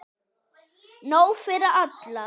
Nóg fyrir alla!